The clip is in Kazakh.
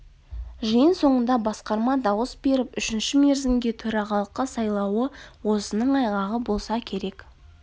жиын соңында басқарма дауыс беріп үшінші мерзімге төрағалыққа сайлауы осының айғағы болса керек